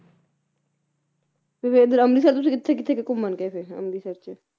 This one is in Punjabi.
ਤੇ ਫੇਰ ਇਧਰ ਅੰਮ੍ਰਿਤਸਰ ਤੁਸੀ ਕਿੱਥੇ ਕਿੱਥੇ ਕ ਘੁੰਮਣ ਗਏ ਫੇਰ ਅੰਮ੍ਰਿਤਸਰ ਚ